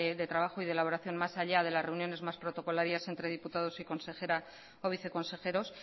de trabajo y de elaboración más allá de las reuniones más protocolarias entre diputados y consejera o viceconsejeros